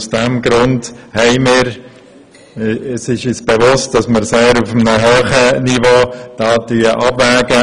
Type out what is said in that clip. Es ist uns bewusst, dass wir uns hier auf einem sehr hohen Niveau bewegen.